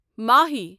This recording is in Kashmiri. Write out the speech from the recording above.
ماہی